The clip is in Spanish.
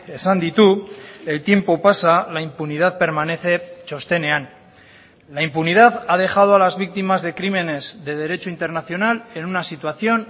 esan ditu el tiempo pasa la impunidad permanece txostenean la impunidad ha dejado a las víctimas de crímenes de derecho internacional en una situación